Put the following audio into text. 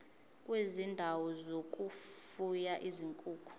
kwezindawo zokufuya izinkukhu